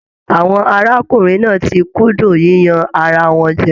Àwọn arákùnrin náà tí kúndùn yíyan ará wọn jẹ.